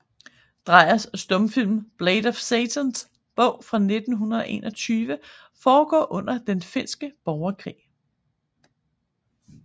Dreyers stumfilm Blade af Satans bog fra 1921 foregår under den finske borgerkrig